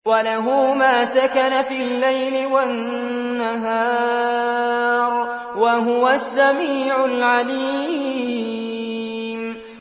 ۞ وَلَهُ مَا سَكَنَ فِي اللَّيْلِ وَالنَّهَارِ ۚ وَهُوَ السَّمِيعُ الْعَلِيمُ